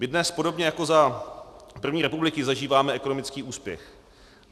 My dnes podobně jako za první republiky zažíváme ekonomický úspěch.